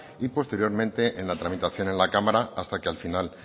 y posteriormente en la tramitación en la cámara hasta que al final